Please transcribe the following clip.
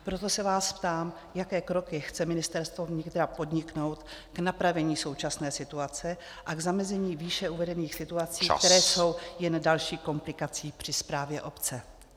Proto se vás ptám, jaké kroky chce Ministerstvo vnitra podniknout k napravení současné situace a k zamezení výše uvedených situací , které jsou jen další komplikací při správě obce.